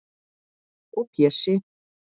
Og Pési